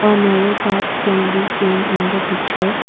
a narrow path can be seen in the picture.